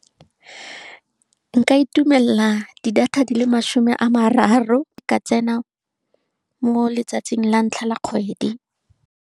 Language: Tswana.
Nka itumelela di-data di le masome a mararo, ka tsena mo letsatsing la ntlha la kgwedi.